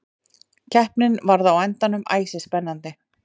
Keppnin varð á endanum æsispennandi.